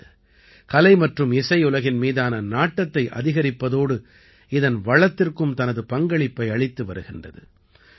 இது கலை மற்றும் இசையுலகின் மீதான நாட்டத்தை அதிகரிப்பதோடு இதன் வளத்திற்கும் தனது பங்களிப்பை அளித்து வருகின்றது